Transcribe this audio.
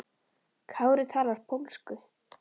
Kári talar pólsku.